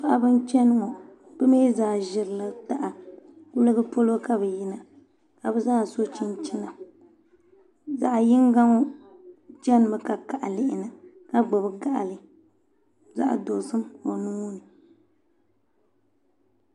Paɣaba n chɛni ŋo bi mii zaa ʒirila taha kuligi polo ka bi yina ka bi zaa so chinchina zaɣ yinga chɛnimi ka kaɣa lihina ka gbubi gaɣali zaɣ dozim o nuuni